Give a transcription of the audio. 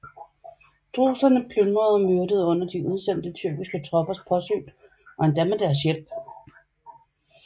Druserne plyndrede og myrdede under de udsendte tyrkiske troppers påsyn og endda med deres hjælp